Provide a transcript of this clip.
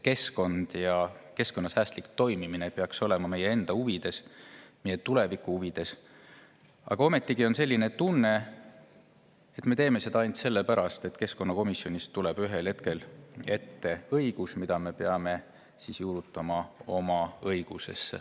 Keskkond ja keskkonnasäästlik toimimine peaks olema meie enda huvides, meie tuleviku huvides, aga ometigi on selline tunne, et me teeme seda ainult selle pärast, et keskkonnakomisjonist tuleb ühel hetkel õigusakt, mille peame oma õigusesse juurutama.